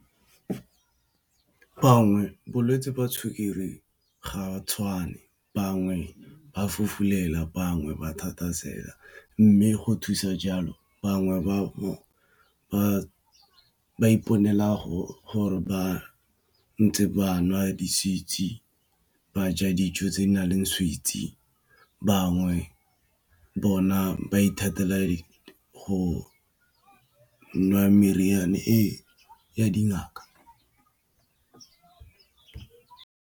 Bangwe bolwetsi ba sukiri ga tshwane bangwe ba fofulelwa bangwe ba mme go thusa jalo bangwe ba iponela gore ba ntse ba nwa ba ja dijo tse di naleng sweets, bangwe bona ba ithatela go nwa meriana e ya dingaka.